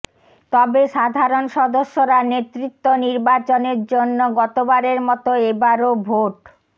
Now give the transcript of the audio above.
তবে সাধারণ সদস্যরা নেতৃত্ব নির্বাচনের জন্য গতবারের মতো এবারও ভোট